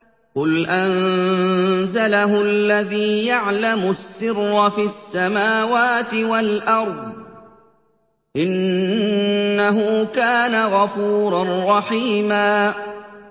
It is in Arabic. قُلْ أَنزَلَهُ الَّذِي يَعْلَمُ السِّرَّ فِي السَّمَاوَاتِ وَالْأَرْضِ ۚ إِنَّهُ كَانَ غَفُورًا رَّحِيمًا